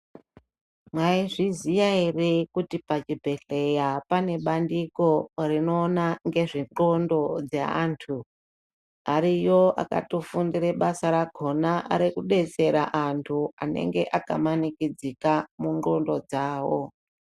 Maizviziya ere kuti pachibhehleya pane pandiko rinoona nezve ndxondo dzeantu. Ariyo alatofundire basa rakona rekudetsera antu anenge akamanikidzika ngendxondo dzavo.